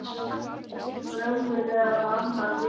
Var einhver önnur eða annar í spilinu?